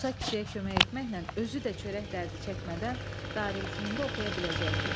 Musa kişiyə kömək etməklə özü də çörək dərdi çəkmədən darülfununda oxuya biləcəkdi.